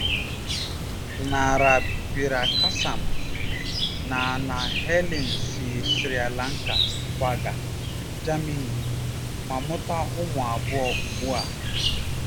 Gnanapirakasam na na Helen si Sri Lanka kwaga Germany ma mụta ụmụ abụọ ugbu a.